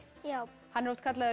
já hann er oft kallaður